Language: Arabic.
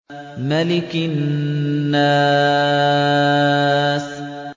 مَلِكِ النَّاسِ